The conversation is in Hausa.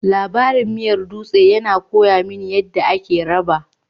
Labarin miyar dutse ya koya mini yadda ake raba